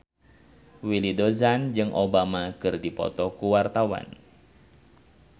Willy Dozan jeung Obama keur dipoto ku wartawan